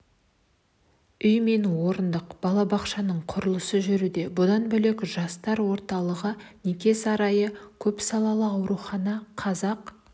үй мен орындық балабақшаның құрылысы жүруде бұдан бөлек жастар орталығы неке сарайы көпсалалы аурухана қазақ